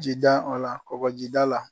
Ji da la kɔkɔji da la.